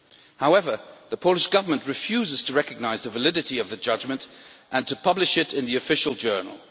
However, the Polish Government refuses to recognise the validity of the judgment and to publish it in the Official Journal.